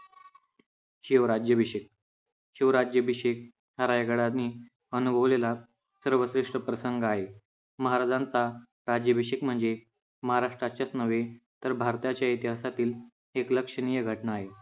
शिवराज्याभिषेक, शिवराज्याभिषेक हा रायगडाने अनुभवलेला सर्वश्रेष्ठ प्रसंग आहे. महाराजांचा राज्याभिषेक म्हणजे महाराष्ट्राच्या च नव्हे, तर भारताच्या इतिहासातील एक लक्षणीय घटना आहे.